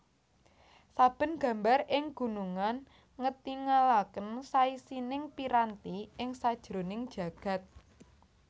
Saben gambar ing gunungan ngetingalaken saisining piranti ing sajroning jagad